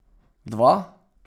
Dva?